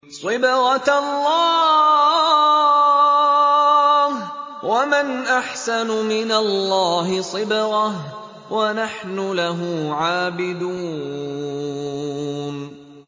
صِبْغَةَ اللَّهِ ۖ وَمَنْ أَحْسَنُ مِنَ اللَّهِ صِبْغَةً ۖ وَنَحْنُ لَهُ عَابِدُونَ